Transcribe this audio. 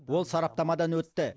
ол сараптамадан өтті